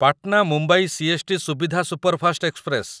Patna Mumbai CST. Suvidha superfast express